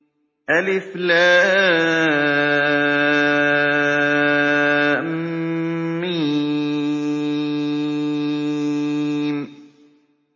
الم